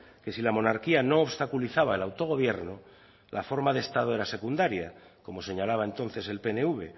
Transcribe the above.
que si la monarquía no obstaculizaba el autogobierno la forma de estado era secundaria como señalaba entonces el pnv